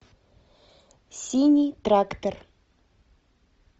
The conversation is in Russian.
синий трактор